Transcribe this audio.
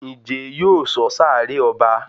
Njé yóò sọ sáré ọba?